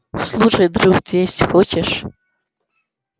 слушай друг ты есть хочешь